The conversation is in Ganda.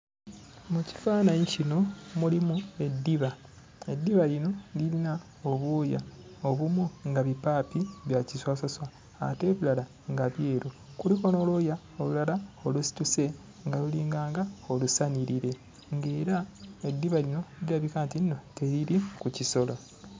Mu kifaananyi kino mulimu eddiba. Eddiba lino lirina obwoya obumu nga bipaapi bya kiswaswaswa ate ebirala nga byeru. Kuliko n'olwoya olulala olusituse nga lulinganga olusanirire nga era eddiba lino lirabika ntinno teriri ku kisolo.